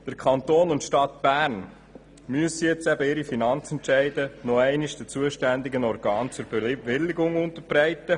Der Kanton und die Stadt Bern müssen ihre Finanzentscheide nochmals den zuständigen Organen zur Bewilligung unterbreiten.